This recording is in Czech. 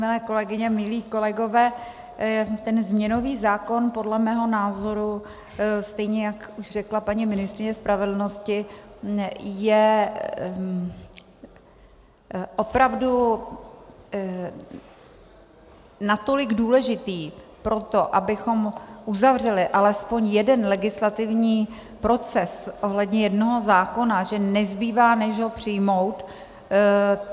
Milé kolegyně, milí kolegové, ten změnový zákon podle mého názoru, stejně jak už řekla paní ministryně spravedlnosti, je opravdu natolik důležitý proto, abychom uzavřeli alespoň jeden legislativní proces ohledně jednoho zákona, že nezbývá, než ho přijmout.